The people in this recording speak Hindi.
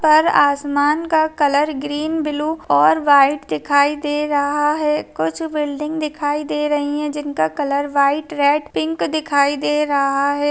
पर आसमान का कलर ग्रीन ब्लू और वाइट दिखाई दे रहा है कुछ बिल्डिंग दिखाई दे रही है जिनका कलर वाइट रेड पिंक दिखाई दे रहा है।